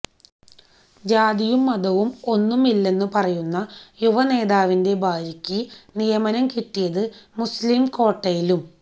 ജാതിയും മതവും ഒന്നും ഇല്ലന്നു പറയുന്ന യുവ നേതാവിന്റെ ഭാര്യക്ക് നിയമനം കിട്ടിയത് മുസ്ളീം കോട്ടയിലും